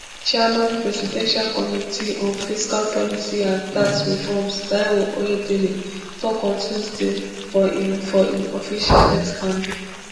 chairman presidential committee on fiscal policy and tax reforms taiwo oyedele tok on tuesday for im for im official x handle